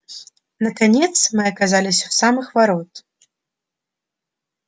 наконец мы оказались у самых ворот